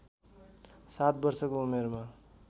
सात वर्षको उमेरमा